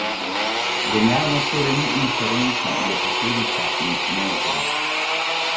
Genialnost torej ni inherentna, je posledica in ne vzrok.